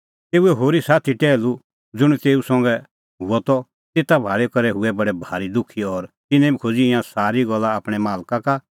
तेऊए होरी साथी टैहलू ज़ुंण तेऊ संघै हुअ त तेता भाल़ी करै हुऐ बडै भारी दुखी और तिन्नैं बी खोज़ी ईंयां सारी गल्ला आपणैं मालका का